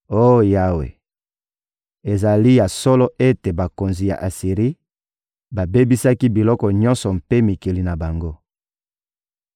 Oh Yawe, ezali ya solo ete bakonzi ya Asiri babebisaki bikolo nyonso mpe mikili na bango.